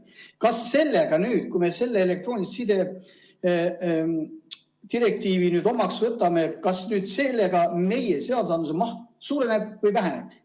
Kas sellega, kui me elektroonilise side direktiivi nüüd omaks võtame, meie seadusandluse maht suureneb või väheneb?